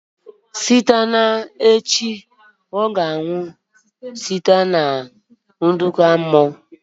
Site na echi ọ ga-anwụ site na nkụda mmụọ